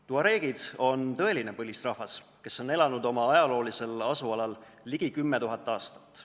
Tuareegid on tõeline põlisrahvas, kes on oma ajaloolisel asualal elanud ligi 10 000 aastat.